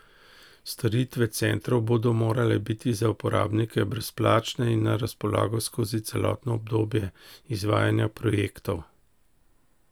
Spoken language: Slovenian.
Storitve centrov bodo morale biti za uporabnike brezplačne in na razpolago skozi celotno obdobje izvajanja projektov.